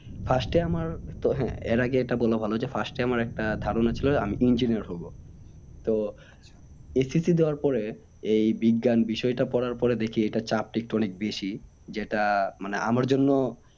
first এ আমার তো হ্যাঁ এর আগে যেটা বলা ভালো যে first এ আমার এর ধারনা ছিল যে আমি engineer হবো তো ACC দেওয়ার পরে এই বিজ্ঞান বিষয়টা পড়ার পরে দেখি এটার চাপটা একটু অনেক বেশি যেটা উম মানে আমার জন্য